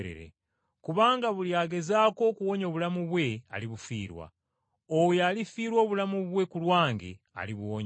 Kubanga buli agezaako okuwonya obulamu bwe alibufiirwa, oyo alifiirwa obulamu bwe ku lwange alibuwonya.